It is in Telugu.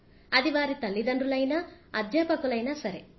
అది వారి తల్లిదండ్రులైనా అధ్యాపకులైనా సరే